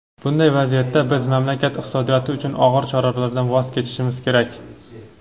bunday vaziyatda biz mamlakat iqtisodiyoti uchun og‘ir choralardan voz kechishimiz kerak.